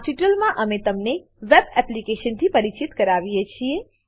આ ટ્યુટોરીયલમાં અમે તમને વેબ એપ્લિકેશન થી પરિચય કરાવીએ છીએ